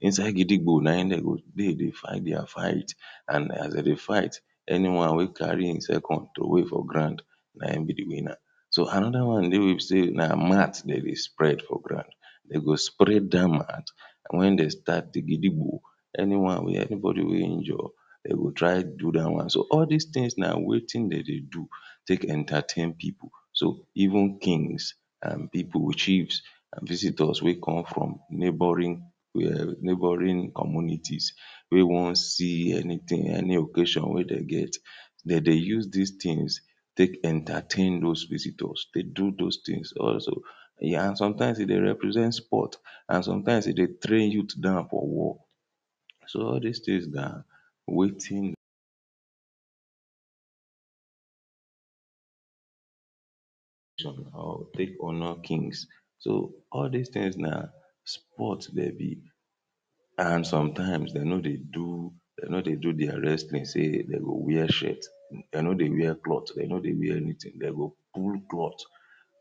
inside gidigbo na im dem go dey dey fight dia fight and as dem dey fight anyone wey carry im sef come throway for ground na im be di winner. So, another one dey wey be say na mat dem dey spread for ground dem go spread dat mat and wen dem start di gidigbo anyone wey, anybodi wey injure dem go try do that one, so all dis tins na wetin dem dey do take entertain pipo so, even kings and pipo, chiefs and visitors wey come from neboring neboring communiti wey wan see anytin, any occasion wey dem get dey dey use dis tins take entertain dos visitors, dey do dos tins ehn, and sometimes e dey represent sport and sometimes e dey train youth down for war so all dis tins na wetin dem dey take honour kings so, all dis tins na sport dem be and sometimes dem no dey do dem no dey do dia wrestling say dem go wear shirt dem no dey wear cloth, dem no dey wear anytin dem go pull cloth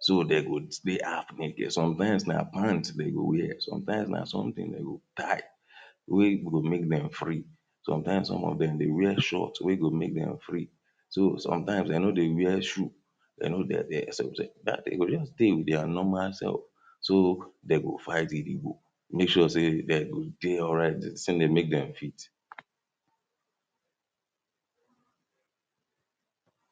so dem go stay haf naked sometimes na pants dem go wear sometimes na sometin dey go tie wey go make dem free sometimes some of dem dey wear shorts wey go make dem free sometimes dem no dey wear shoe?? dat day dem go just dey wit dia normal sef so, dem go fight gidigbo make sure say dem go dey alright dis tin dey make dem fit